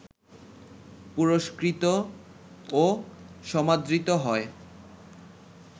পুরস্কৃত ও সমাদৃত হয়